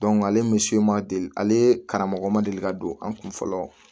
ale ni ma deli ale karamɔgɔ ma deli ka don an kun fɔlɔ